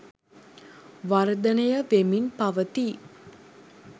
වර්ධනය වෙමින් පවතී